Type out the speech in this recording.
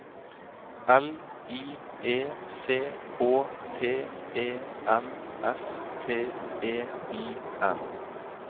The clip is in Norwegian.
L I E C H T E N S T E I N